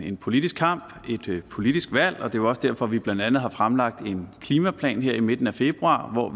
en politisk kamp et politisk valg og det jo også derfor vi blandt andet har fremlagt en klimaplan her i midten af februar